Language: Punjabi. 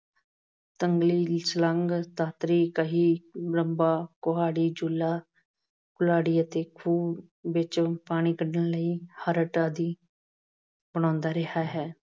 ਤੰਗਲੀ, ਸਲੰਗ, ਦਾਤਰੀ, ਕਹੀ, ਲੰਮਾ, ਕੁਹਾੜੀ, ਜੂਲਾ, ਕੁਲਾੜੀ ਅਤੇ ਖੂਹ ਵਿੱਚੋਂ ਪਾਣੀ ਕੱਢਣ ਲਈ ਹਰਟ ਆਦਿ ਬਣਾਉਂਦਾ ਰਿਹਾ ਹੈ।